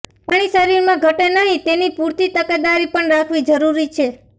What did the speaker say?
પાણી શરીરમાં ઘટે નહીં તેની પુરતી તકેદારી પણ રાખવી જરૂરી છે